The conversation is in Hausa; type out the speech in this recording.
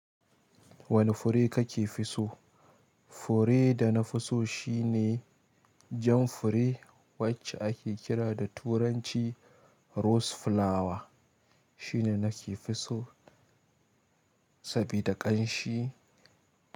Wane fure kake fi so? Fure da na fi so shine jan fure wacce ake kira da turanci rose flower. Shine nake fi so sabida ƙanshi.